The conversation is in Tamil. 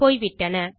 போய்விட்டன